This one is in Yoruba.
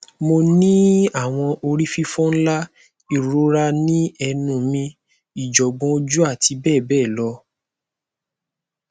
mo n ni awọn orififo nla irora ni ẹnu mi ijogbon oju ati bẹbẹ lọ